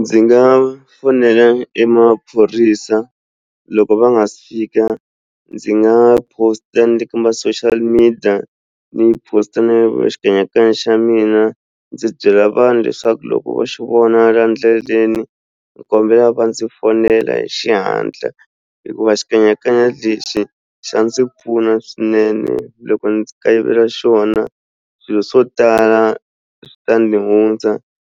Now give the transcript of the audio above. Ndzi nga fonela emaphorisa loko va nga se fika ndzi nga post-a ni le ka ma social media ni post-a na xikanyakanya xa mina ndzi byela vanhu leswaku loko va xi vona laha ndleleni ndzi kombela va ndzi fonela hi xihatla hikuva xikanyakanya lexi xa ndzi pfuna swinene loko ndzi kayivela xona swilo swo tala swi ta ndzi hundza